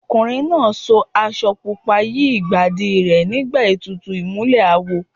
Ọkùnrin náà so aṣọ pupa yí Ìbàdí rẹ̀ nígbà ètùtù ìmùlẹ̀ awo.